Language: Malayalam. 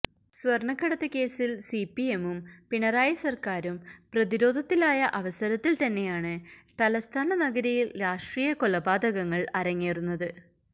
സ്വർണ്ണക്കടത്ത് കേസിൽ സിപിഎമ്മും പിണറായി സർക്കാരും പ്രതിരോധത്തിലായ അവസരത്തിൽ തന്നെയാണ് തലസ്ഥാന നഗരിയിൽ രാഷ്ട്രീയ കൊലപാതകങ്ങൾ അരങ്ങേറുന്നത്